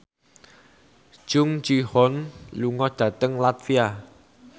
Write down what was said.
Jung Ji Hoon lunga dhateng latvia